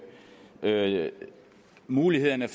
mulighederne